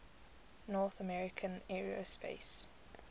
north american aerospace